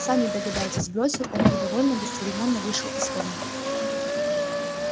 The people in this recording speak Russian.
сами догадайтесь бросил он и довольно бесцеремонно вышел из комнаты